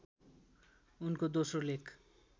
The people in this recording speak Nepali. उनको दोस्रो लेख